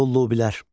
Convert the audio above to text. Lullubilər.